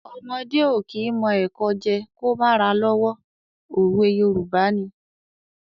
Ọmọdé ò kí mọ ẹ̀kọ jẹ́ ẹ kó má ra lọ́wọ́. òwe Yorùbá ni.